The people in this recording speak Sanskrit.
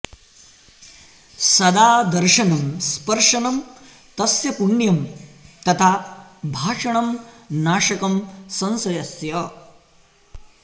सदा दर्शनं स्पर्शनं तस्य पुण्यं तथा भाषणं नाशकं संशयस्य